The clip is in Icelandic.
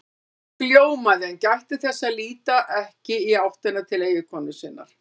Mark ljómaði en gætti þess að líta ekki í áttina til eiginkonu sinnar.